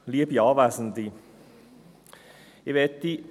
Kommissionssprecher der SiK-Minderheit.